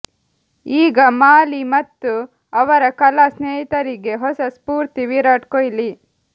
ಈಗ ಮಾಲಿ ಮತ್ತು ಅವರ ಕಲಾ ಸ್ನೇಹಿತರಿಗೆ ಹೊಸ ಸ್ಫೂರ್ತಿ ವಿರಾಟ್ ಕೊಹ್ಲಿ